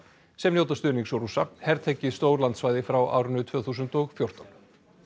sem njóta stuðnings Rússa hertekið stór landsvæði frá árinu tvö þúsund og fjórtán